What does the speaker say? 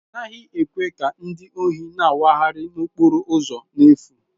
A naghị ekwe ka ndị ohi na-awagharị n'okporo ụzọ n'efu.